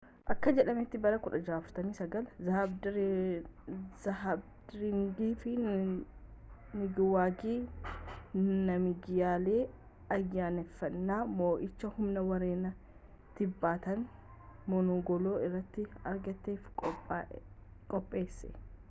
akka jedhameetti bara 1649 zahabdirangi nigawaangi naamgiyeel ayyaaneffannaa moo'ichaa humna warreen tiibetan-mongol irratti argatef qopheesse